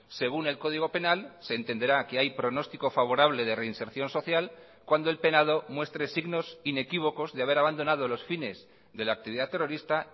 según el código penal se entenderá que hay pronostico favorable de reinserción social cuando el penado muestre signos inequívocos de haber abandonado los fines de la actividad terrorista